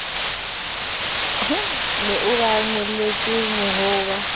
ne a ba ngoletse horeba